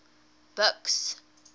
buks